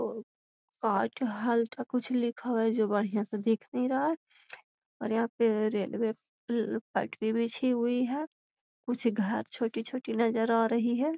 कुछ लिखल है जो बढ़िया से दिख नहीं रहा है और यहां पे रेलवे पटरी बिछी हुई है कुछ घास छोटी-छोटी नजर आ रही है।